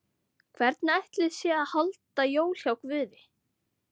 Hvernig ætli sé að halda jól hjá Guði?